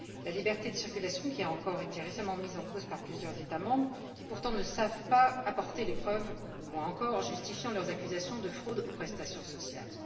La liberté de circulation a encore été récemment mise en cause par plusieurs États membres qui, pourtant, ne savent toujours pas apporter les preuves qui justifient leurs accusations de fraude aux prestations sociales.